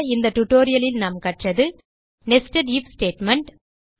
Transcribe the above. இந்த டியூட்டோரியல் லில் கற்றது நெஸ்டட் ஐஎஃப் ஸ்டேட்மெண்ட்